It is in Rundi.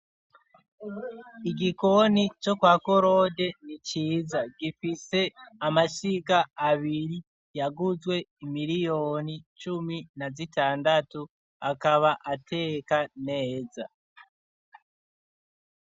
Igikoni co kwa korode niciza gifise amashiga abiri yaguzwe imiliyoni cumi na zitandatu akaba ateka neza.